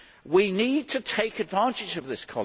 We need to take advantage of this.